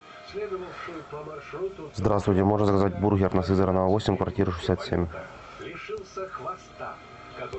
здравствуйте можно заказать бургер на сызарано восемь квартира шестьдесят семь